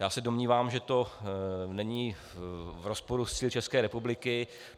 Já se domnívám, že to není v rozporu s cíli České republiky.